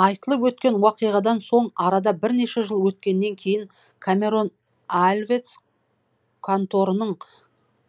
айтылып өткен уақиғадан соң арада бірнеше жыл өткеннен кейін камерон альвец конторының